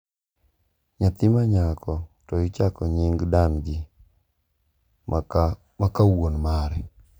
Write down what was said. Nyathi ma nyako to ichako nying dan gi ma ka wuon mare.